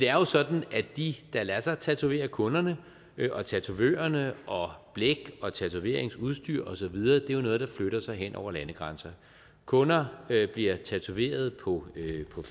er jo sådan at de der lader sig tatovere kunderne og tatovørerne og blæk og tatoveringsudstyr og så videre er noget der flytter sig hen over landegrænser kunder bliver tatoveret på